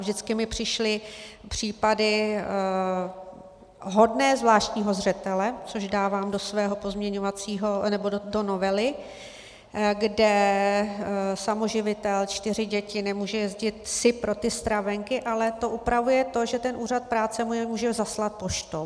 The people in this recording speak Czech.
Vždycky mi přišly případy hodné zvláštního zřetele, což dávám do svého pozměňovacího, nebo do novely, kde samoživitel, čtyři děti, nemůže jezdit si pro ty stravenky, ale to upravuje to, že ten úřad práce mu je může zaslat poštou.